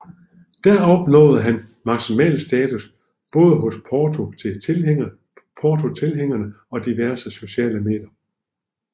Der opnåede han maksimal status både hos Porto tilhængerne og diverse sociale medier